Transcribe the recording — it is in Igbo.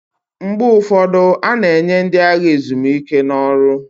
Mgbe ụfọdụ, a na-enye ndị agha ezumike n'ọrụ